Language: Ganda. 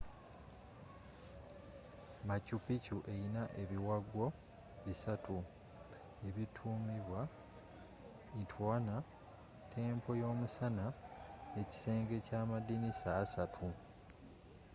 machu picchu eyina ebiwagwo bisatu ebitumiddwa intihuatana temple y'omusana ekisenge kya amadiinisa asaatu